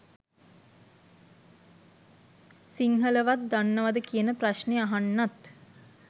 සිංහලවත් දන්නවද කියන ප්‍රශ්නෙ අහන්නත්